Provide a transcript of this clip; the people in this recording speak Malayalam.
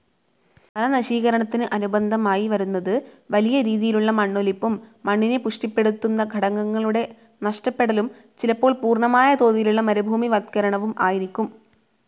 വനനശീകരണത്തിനു അനുബന്ധമായി വരുന്നത് വലിയ രീതിയിലുള്ള മണ്ണൊലിപ്പും മണ്ണിനെ പുഷ്ടിപ്പെടുത്തുന്ന ഘടകങ്ങളുടെ നഷ്ടപ്പെടലും ചിലപ്പോൾ പൂർണമായ തോതിലുള്ള മരുഭൂമിവത്കരണവും ആയിരിക്കും.